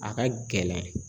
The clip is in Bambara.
A ka gɛlɛn.